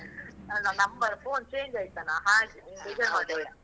ಅಲ್ಲ number phone change ಯ್ತನ, ಹಾಗೆ ಬೇಜಾರ್ ಮಾಡ್ಕೋಳ್ಬೇಡ.